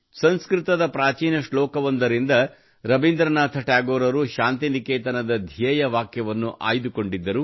ಸಂಸ್ಕೃತದ ಪ್ರಾಚೀನ ಶ್ಲೋಕವೊಂದರಿಂದ ರವೀಂದ್ರನಾಥ ಟ್ಯಾಗೋರರು ಶಾಂತಿನಿಕೇತನದ ಧ್ಯೇಯವಾಕ್ಯವನ್ನು ಆಯ್ದುಕೊಂಡಿದ್ದರು